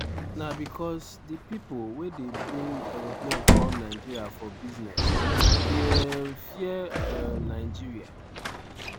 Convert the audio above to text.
na becos di pipo wey dey bring aeroplane come nigeria for business dey um fear um nigeria.